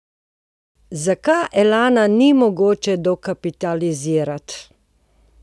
Zakaj Elana ni mogoče dokapitalizirati?